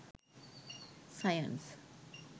science